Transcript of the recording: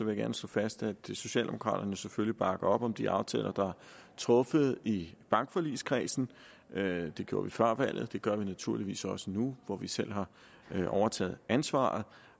jeg gerne slå fast at socialdemokraterne selvfølgelig bakker op om de aftaler der er truffet i bankforligskredsen det gjorde vi før valget og det gør vi naturligvis også nu hvor vi selv har overtaget ansvaret